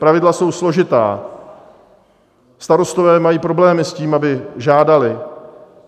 Pravidla jsou složitá, starostové mají problémy s tím, aby žádali.